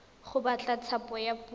go batla thapo ya puso